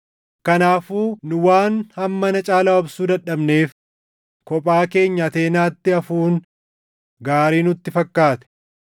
Kanaafuu nu waan hammana caalaa obsuu dadhabneef kophaa keenya Ateenaatti hafuun gaarii nutti fakkaate.